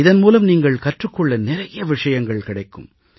இதன் மூலம் நீங்கள் கற்றுக் கொள்ள நிறைய விஷயங்கள் கிடைக்கும்